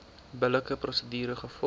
billike prosedure gevolg